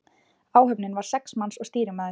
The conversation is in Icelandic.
Áhöfnin var sex manns og stýrimaður.